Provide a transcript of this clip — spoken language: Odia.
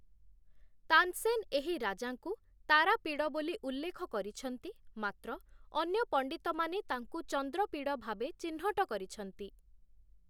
ତାନସେନ୍ ଏହି ରାଜାଙ୍କୁ 'ତାରାପିଡ଼' ବୋଲି ଉଲ୍ଲେଖ କରିଛନ୍ତି, ମାତ୍ର ଅନ୍ୟ ପଣ୍ଡିତମାନେ ତାଙ୍କୁ 'ଚନ୍ଦ୍ରପୀଡ଼' ଭାବେ ଚିହ୍ନଟ କରିଛନ୍ତି ।